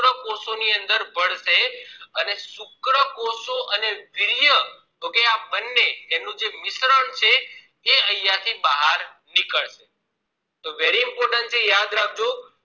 શુક્રકોષો ની અંદર ભળશે અને શુક્રકોષો અને વીર્ય તો કે આ બંને નું જે મિશ્રણ છે એ અહિયાં થી બાર નીકળશે તોહ very important છે યાદ રાખજો